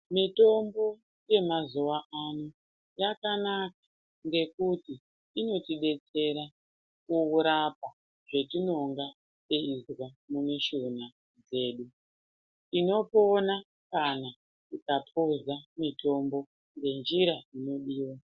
Mitombo yemazuwano yakanaka ngekuti inotidetsera mukurapwa zvetinenge teizwa mumishuna dzedu. Tinopona kana tikapuza mitombo nenjira inodiwa.